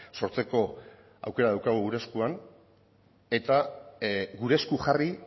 sortzeko aukera daukagu gure eskuan eta gure esku jarri